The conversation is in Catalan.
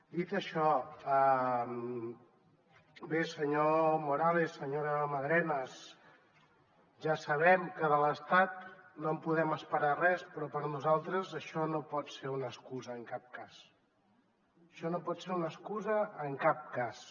dit això bé senyor morales senyora madrenas ja sabem que de l’estat no en podem esperar res però per nosaltres això no pot ser una excusa en cap cas això no pot ser una excusa en cap cas